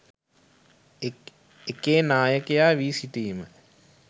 එකේ නායකයා වී සිටීම